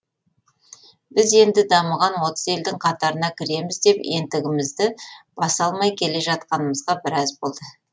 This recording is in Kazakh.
біз енді дамыған отыз елдің қатарына кіреміз деп ентігімізді баса алмай келе жатқанымызға біраз болды